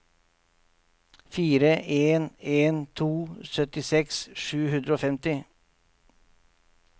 fire en en to syttiseks sju hundre og femti